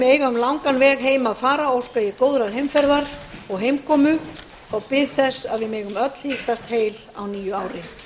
eiga um langan veg heim að fara óska ég góðrar heimferðar og heimkomu og bið þess að við megum öll hittast heil á nýju ári